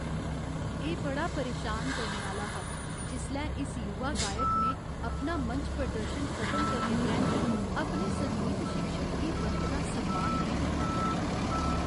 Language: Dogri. एह् बड़ा परेशान करने आह्‌ला हा जिसलै इस युवा गायक ने अपना मंच प्रदर्शन खतम करने परैंत्त अपने संगीत शिक्षक गी बनकदा सम्मान नेईं दित्ता।